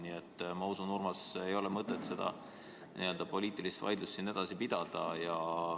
Nii et ma usun, Urmas, et ei ole mõtet seda poliitilist vaidlust siin edasi pidada.